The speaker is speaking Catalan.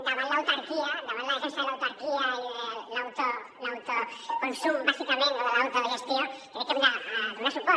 davant l’autarquia davant la defensa de l’autarquia i de l’autoconsum bàsicament o de l’autogestió crec que hem de donar suport